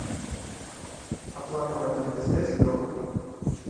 оплата мобильная связь леха